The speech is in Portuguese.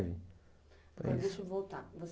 Deixa eu voltar.